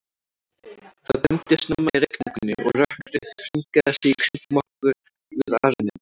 Það dimmdi snemma í rigningunni, og rökkrið hringaði sig í kringum okkur við arininn.